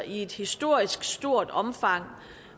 i et historisk stort omfang